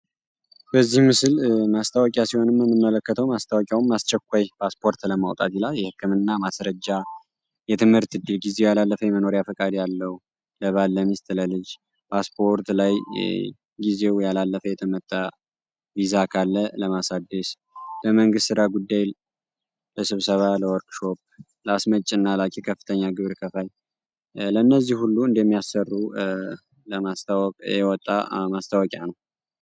በዚህ ምስል ማስታወቂያ ሲሆን ምንመለከተው ማስታወቂያውም አስቸኳይ ፓስፖርት ለማውጣት የህክምና ማስረጃ ጊዜ የመኖሪያ ፈቃድ ያለው ለባለ ሚስት ለልጅ ፓስፖርት ላይ ጊዜው ያለፈ የተመታ ካለ ለማሳደስ ለመንግት ራ ጉዳይ ለስብሰባ ለአስመጭና ላኪ ከፍተኛ ግብር ከፋይ ለእነዚህ ሁሉ እንደሚያሰሩ ለማስታወቅ የወጣ ማስታወቂያ ነው